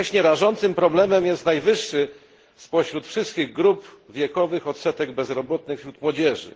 Jednocześnie rażącym problemem jest najwyższy spośród wszystkich grup wiekowych odsetek bezrobotnych wśród młodzieży.